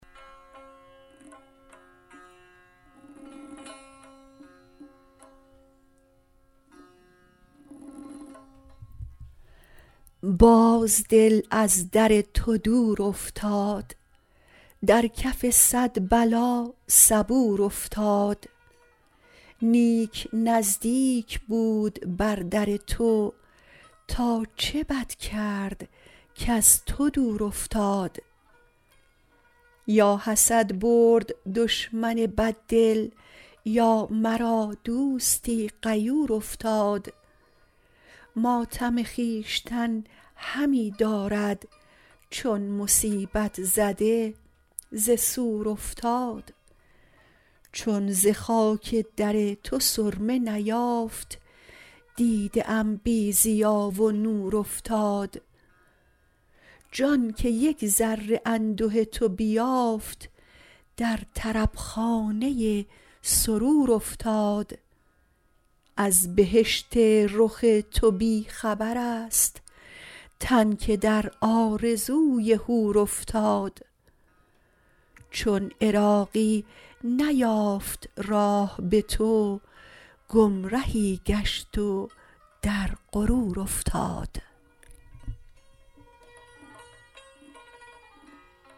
باز دل از در تو دور افتاد در کف صد بلا صبور افتاد نیک نزدیک بود بر در تو تا چه بد کرد کز تو دور افتاد یا حسد برد دشمن بد دل یا مرا دوستی غیور افتاد ماتم خویشتن همی دارد چون مصیبت زده ز سور افتاد چون ز خاک در تو سرمه نیافت دیده ام بی ضیا و نور افتاد جان که یک ذره انده تو بیافت در طربخانه سرور افتاد از بهشت رخ تو بی خبر است تن که در آرزوی حور افتاد چون عراقی نیافت راه به تو گمرهی گشت و در غرور افتاد